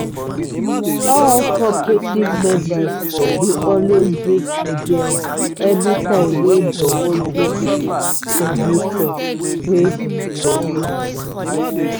all cooperative members dey always bring ideas anytime wey dem wan do meeting for new crop wey dem wan plant.